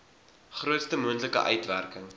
grootste moontlike uitwerking